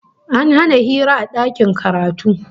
An hana hira a dakin karatu